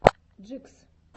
джикс